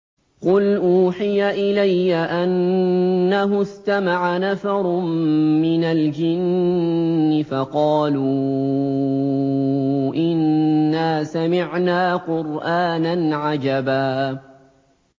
قُلْ أُوحِيَ إِلَيَّ أَنَّهُ اسْتَمَعَ نَفَرٌ مِّنَ الْجِنِّ فَقَالُوا إِنَّا سَمِعْنَا قُرْآنًا عَجَبًا